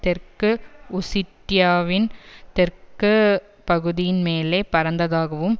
தெற்கு ஒசிட்டியாவின் தெற்கு பகுதியின் மேலே பறந்ததாகவும்